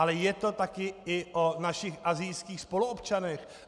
Ale je to také i o našich asijských spoluobčanech.